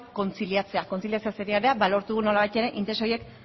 kontziliatzea ba lortu nolabait ere interes horiek